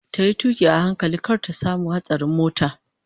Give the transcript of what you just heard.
Tayi tuƙi a hankali kar ta samu hatsarin mota